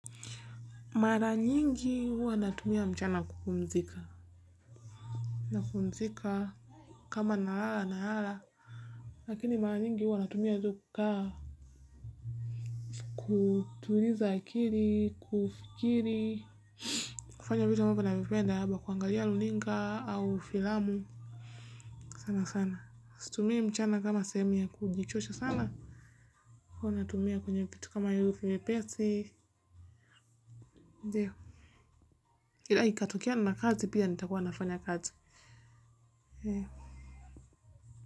Mara nyingi huwa natumia mchana kupumzika na kupumzika kama na ala na ala lakini mara nyingi huwa natumia hizo kukaa kutuliza akili kufikiri kufanya vitu ninavyopenda kuangalia runinga au filamu sana sana situmii mchana kama sehemu ya kujichosha sana huwa natumia kwenye vitu kama hivyo vinyepesi ndio ila ikatokea nina kazi pia nitakuwa nafanya kazi ee.